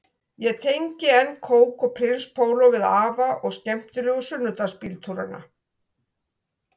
Ég tengi enn kók og prins póló við afa og skemmtilegu sunnudagsbíltúrana